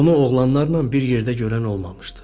Onu oğlanlarla bir yerdə görən olmamışdı.